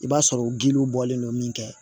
I b'a sɔrɔ giliw bɔlen don min kɛ